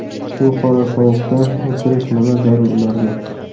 Shu qorasovuqda o‘tirish nima zarur ularga?